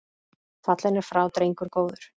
Fallinn er frá drengur góður.